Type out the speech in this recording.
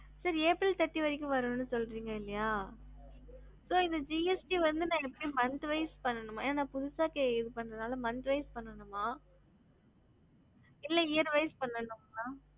ஹம்